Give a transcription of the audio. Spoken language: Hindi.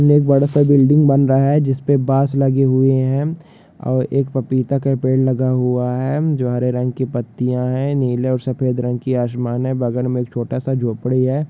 के लिए एक बड़ा सा बिल्डिंग बन रहा है जिसमें बॉंस लगे हुए है और एक पपीता का पेड़ लगा हुआ है जो हरे रंग की पतियाँ है नीले और सफेद रंग की आसमान है बगल में एक छोटा सा झोपड़ी है।